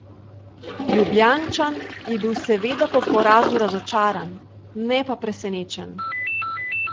Ljubljančan je bil seveda po porazu razočaran, ne pa presenečen.